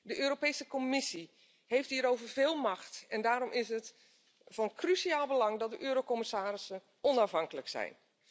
De Europese Commissie heeft hierover veel macht en daarom is het van cruciaal belang dat de eurocommissarissen onafhankelijk zijn.